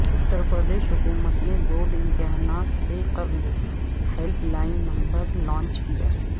اترپردیش حکومت نے بورڈ امتحانات سے قبل ہیلپ لائن نمبر لانچ کیا